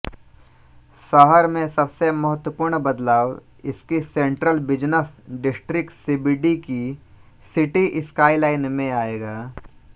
शहर में सबसे महत्वपूर्ण बदलाव इसकी सेंट्रल बिजनस डिस्ट्रिक्ट सीबीडी की सिटी स्काईलाइन में आयेगा